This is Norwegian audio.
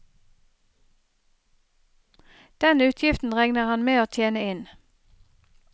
Den utgiften regner han med å tjene inn.